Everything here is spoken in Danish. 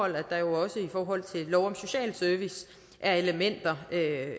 at der jo også i forhold til lov om social service er elementer